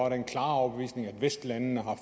af den klare overbevisning at vestlandene har